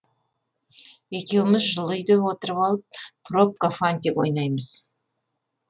екеуміз жылы үйде отырып алып пробка фантик ойнаймыз